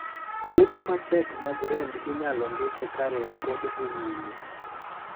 Yedhe matek mag rem inyalo ndike ka rem pod dhi nyime.